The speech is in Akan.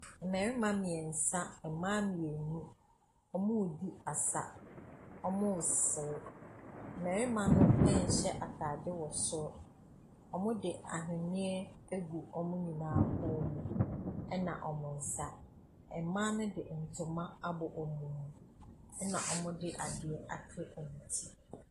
Mmarima mmiɛnsa mma mmienu, wɔredi asa. Wɔresere. Mmarima no nhyɛ ataare wɔ soro, wɔde aweneɛ agu wɔn nyinaa kɔn na wɔresa. Mmaa ne de ntoma abɔ wɔn mu na wɔde adeɛ akyekyere wɔn ti.